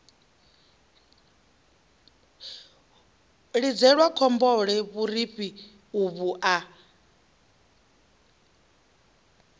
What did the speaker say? lidzelwa khombole vhurifhi uvhu a